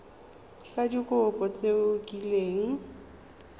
ka dikopo tse o kileng